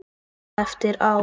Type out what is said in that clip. Svona eftir á.